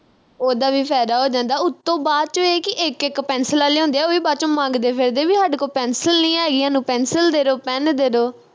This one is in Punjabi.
ਉੱਦਾਂ ਵੀ ਫਾਇਦਾ ਹੋ ਜਾਂਦਾ ਉਤੋਂ ਬਾਅਦ ਵਿਚ ਇਹ ਕੀ ਇਕ ਇਕ ਪੈਨਸਿਲਾਂ ਲਿਆਉਦੇ ਆ ਉਹ ਵੀ ਬਾਅਦ ਵਿਚ ਮੰਗਦੇ ਫਿਰਦੇ ਬਈ ਹਾਡੇ ਕੋਲ pencil ਨੀ ਹੈਗੀ ਹਾਨੂੰ pencil ਦੇ ਦੋ pen ਦੇ ਦੋ